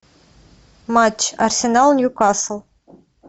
матч арсенал ньюкасл